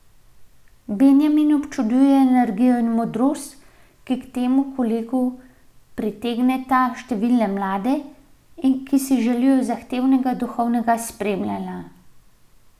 Benjamin občuduje energijo in modrost, ki k temu kolegu pritegneta številne mlade, ki si želijo zahtevnega duhovnega spremljanja.